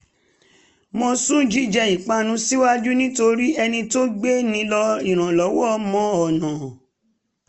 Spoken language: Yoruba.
mo sún jíjẹ ìpanu síwájú nítorí ẹni tó gbé nílò ìrànlọ́wọ́ mọ ọ̀nà